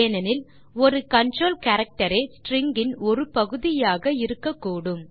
ஏனெனில் ஒரு கன்ட்ரோல் characterரே ஸ்ட்ரிங் இன் ஒரு பகுதியாக இருக்கக்கூடும்